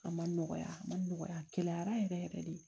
A ma nɔgɔya a ma nɔgɔya a gɛlɛyara yɛrɛ yɛrɛ de